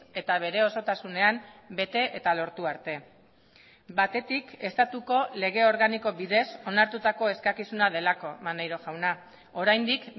eta bere osotasunean bete eta lortu arte batetik estatuko lege organiko bidez onartutako eskakizuna delako maneiro jauna oraindik